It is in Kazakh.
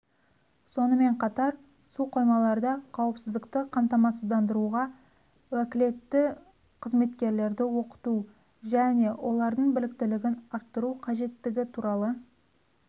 сонымен қатар су қоймаларда қауіпсіздікті қамсыздандыруға уәкілетті қызметкерлерді оқыту және олардың біліктілігін арттыру қажеттігі туралы